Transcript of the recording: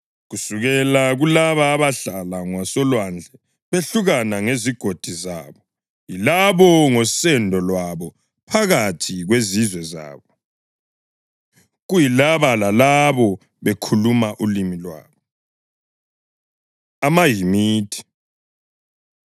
(Kusukela kulaba abahlala ngasolwandle behlukana ngezigodi zabo, yilabo ngosendo lwabo bephakathi kwezizwe zabo, kuyilabo lalabo bekhuluma ulimi lwabo.) AmaHamithi